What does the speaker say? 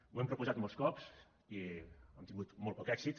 ho hem proposat molts cops i hem tingut molt poc èxit